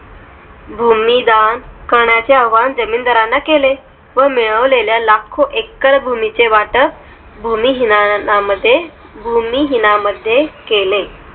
भूमी दान करण्याचे आवाहन जमीनदारांना केले. व मिळव लेल्या लाखो एकर भूमी चे वाटत भूमिहीनना मध्ये भूमिहीनामध्ये केले.